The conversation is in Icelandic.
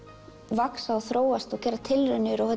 vaxi og þróist og geri tilraunir og